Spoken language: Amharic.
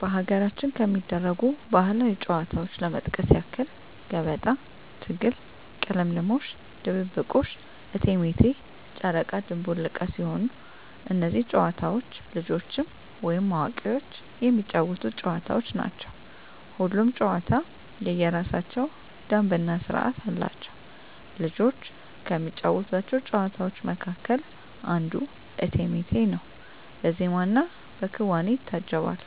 በሀገራችን ከሚደረጉ ባህላዊ ጨዋታዎች ለመጥቀስ ያክል ገበጣ፣ ትግል፣ ቅልምልሞሽ፣ ድብብቆሽ፣ እቴሜቴ፣ ጨረቃ ድንቡል ዕቃ ሲሆኑ እነዚህ ጨዋታዎች ልጆችም ወይም አዋቂዎች የሚጫወቱት ጨዋታዎች ናቸው። ሁሉም ጨዋታ የየራሳቸው ደንብ እና ስርዓት አላቸው። ልጆች ከሚጫወቷቸው ጨዋታዎች መካከል አንዱ እቴሜቴ ነው በዜማና በክዋኔ ይታጀባል